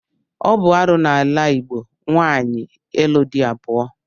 Ọ bụ arụ n'ala Igbo nwaanyị ịlụ di abụọ.